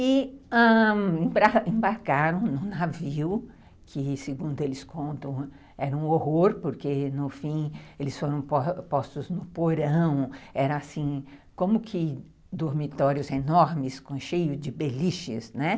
E, ãh, embarcaram num navio que, segundo eles contam, era um horror porque, no fim, eles foram postos no porão, eram assim, como que dormitórios enormes cheios de beliches, né?